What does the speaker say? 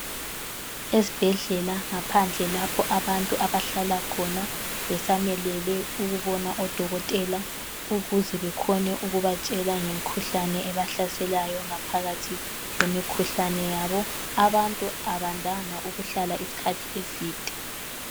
Ezibhedlela ngaphandle lapho abantu abahlala khona besamelele ukubona odokotela ukuze bekhone ukubatshela ngemikhuhlane ebahlaselayo ngaphakathi kwemkhuhlane yabo, abantu abandanga ukuhlala isikhathi eside.